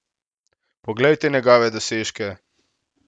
Poglejte njegove dosežke!